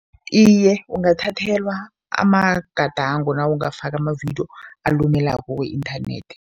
Iye, ungathathelwa amagadango nawungafakwa amavidiyo alumelako ku-inthanethi.